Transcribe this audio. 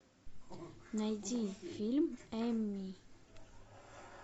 найди фильм эми